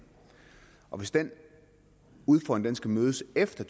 og hvis den udfordring skal mødes efter